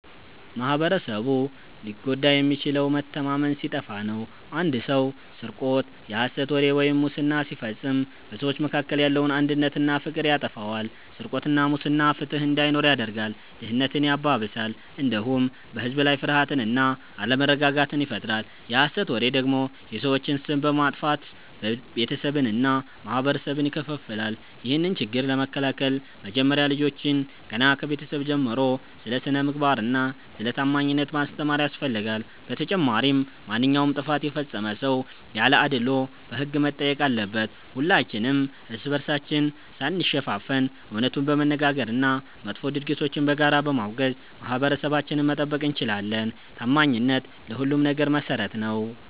ማኅበረሰቡ ሊጎዳ የሚችለው መተማመን ሲጠፋ ነው። አንድ ሰው ስርቆት፣ የሐሰት ወሬ ወይም ሙስና ሲፈጽም በሰዎች መካከል ያለውን አንድነትና ፍቅር ያጠፋዋል። ስርቆትና ሙስና ፍትሕ እንዳይኖር ያደርጋል፣ ድህነትን ያባብሳል፣ እንዲሁም በሕዝብ ላይ ፍርሃትና አለመረጋጋትን ይፈጥራል። የሐሰት ወሬ ደግሞ የሰዎችን ስም በማጥፋት ቤተሰብንና ማኅበረሰብን ይከፋፍላል። ይህንን ችግር ለመከላከል መጀመሪያ ልጆችን ገና ከቤተሰብ ጀምሮ ስለ ስነ-ምግባርና ስለ ታማኝነት ማስተማር ያስፈልጋል። በተጨማሪም ማንኛውም ጥፋት የፈጸመ ሰው ያለ አድልዎ በሕግ መጠየቅ አለበት። ሁላችንም እርስ በርሳችን ሳንሸፋፈን እውነቱን በመነጋገርና መጥፎ ድርጊቶችን በጋራ በማውገዝ ማኅበረሰባችንን መጠበቅ እንችላለን። ታማኝነት ለሁሉም ነገር መሠረት ነው።